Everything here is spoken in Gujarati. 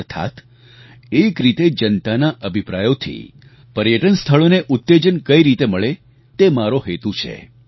અર્થાત્ એક રીતે જનતાના અભિપ્રાયોથી પર્યટન સ્થળોને ઉત્તેજન કઈ રીતે મળે તે મારો હેતુ છે